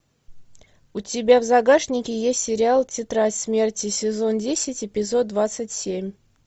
у тебя в загашнике есть сериал тетрадь смерти сезон десять эпизод двадцать семь